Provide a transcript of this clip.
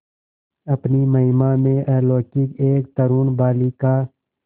अपनी महिमा में अलौकिक एक तरूण बालिका